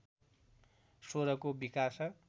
स्वरको विकास